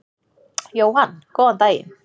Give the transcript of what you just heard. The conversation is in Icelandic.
Jóhann: Góðan daginn.